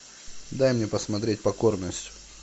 дай мне посмотреть покорность